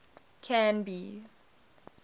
canby